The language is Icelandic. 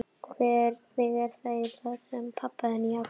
Hvernig er það eiginlega með hann pabba þinn, Jakob?